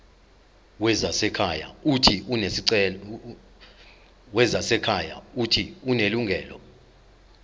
wezasekhaya uuthi unelungelo